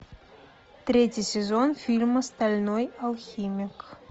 третий сезон фильма стальной алхимик